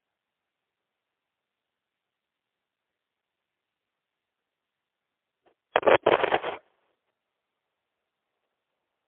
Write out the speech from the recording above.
ndị nwe azụmahịa ntà um na-agbalị ikuziri um ndị ọrụ ha etu ha ga-esi buda ma denye áhà ha n'apụ ekwentị.